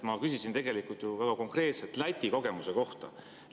Ma küsisin ju väga konkreetselt Läti kogemuse kohta.